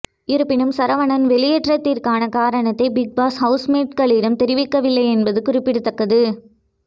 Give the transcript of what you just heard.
இருப்பினும் சரவணன் வெளியேற்றத்திற்கான காரணத்தை பிக்பாஸ் ஹவுஸ்மேட்ஸ்களிடம் தெரிவிக்கவில்லை என்பது குறிப்பிடத்தக்கது